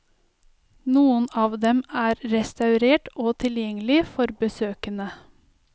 Noen av dem er restaurert og tilgjengelige for besøkende.